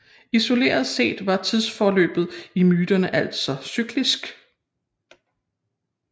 Isoleret set var tidsforløbet i myterne altså cyklisk